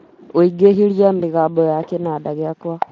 ũingĩhĩrie mĩgambo ya kinanda giakwa